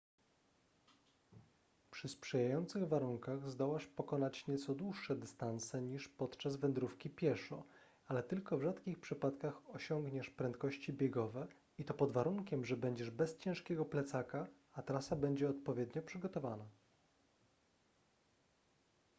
przy sprzyjających warunkach zdołasz pokonać nieco dłuższe dystanse niż podczas wędrówki pieszo ale tylko w rzadkich przypadkach osiągniesz prędkości biegowe i to pod warunkiem że będziesz bez ciężkiego plecaka a trasa będzie odpowiednio przygotowana